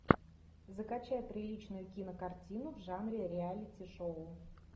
закачай приличную кинокартину в жанре реалити шоу